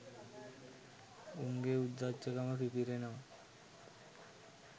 උන්ගේ උද්දච්චකම පිපිරෙනවා.